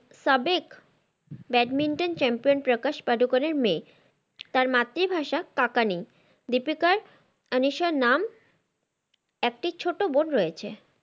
সাবিক batminton champion Prakash পাডুকোনের মেয়ে তার মাতৃ ভাষা কাকানি, দিপিকার আনিসা নাম ছোটো বোন রয়েছে